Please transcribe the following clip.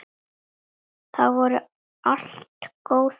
Það voru allt góð kynni.